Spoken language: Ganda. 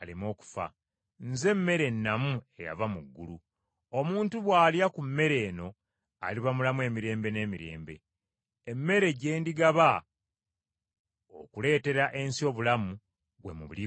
Nze mmere ennamu eyava mu ggulu omuntu bw’alya ku mmere eno aliba mulamu emirembe n’emirembe. Emmere gye ndigaba okuleetera ensi obulamu, gwe mubiri gwange.”